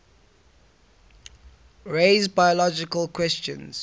raise biological questions